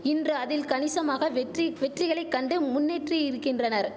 இன்று அதில் கணிசமான வெற்றி வெற்றிகளை கண்டு முன்னேற்றியிரிக்கின்றனர்